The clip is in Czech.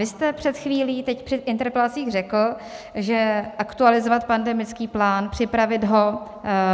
Vy jste před chvílí teď při interpelacích řekl, že aktualizovat pandemický plán, připravit ho